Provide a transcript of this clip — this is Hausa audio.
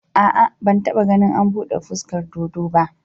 A'a, ban taɓa ganin an buɗe fuskar dodo ba